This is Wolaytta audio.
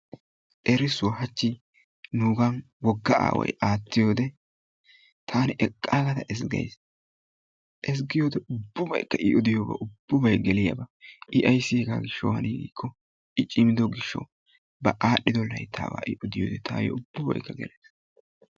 Erissuwaa hachchi nugan wogga aaway attiyode tani eqqagada ezzgays. ezzggiyode ubbabaykka i odiyobay ubbabay i odiyobay geliyaba. i ayssi hegaa gishshawu hani gikko i cimido gishshawu ba adhdhido layttaba ubbabay tayo gelees.